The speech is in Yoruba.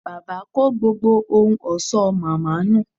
Bàbá kó gbogbo ohun ọ̀ṣọ́ màmá nù